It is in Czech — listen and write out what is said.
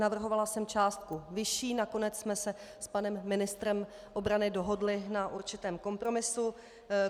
Navrhovala jsem částku vyšší, nakonec jsme se s panem ministrem obrany dohodli na určitém kompromisu.